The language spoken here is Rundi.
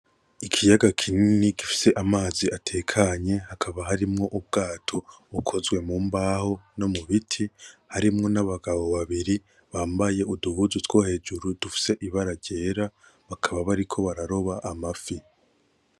Ikiyaga kinini gifise amazi atekanye, hakaba harimwo ubwato bukozwe mu mbaho no nu biti, harimwo n'abagabo babiri bambaye uduhuzu two hejuru dufise ibara ryera, bakaba bariko bararoba amafi.